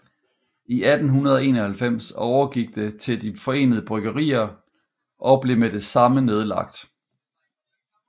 I 1891 overgik det til De forenede Bryggerier og blev med det samme nedlagt